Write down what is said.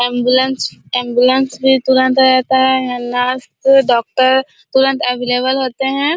Ambulance ambulance भी तुरन्त आ जाता है नर्स एन्ड डॉक्टर तुरंत अवलेबल होते है।